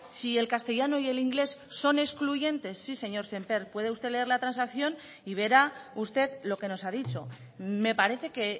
si el castellano y el inglés son excluyentes sí señor sémper puede usted leer la transacción y verá usted lo que nos ha dicho me parece que